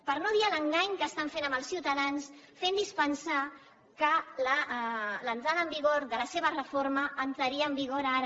per no dir l’engany que estan fent als ciutadans fentlos pensar que l’entrada en vigor de la seva reforma entraria en vigor ara